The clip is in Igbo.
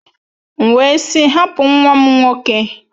M wee sị, hapụ nwa m nwoke!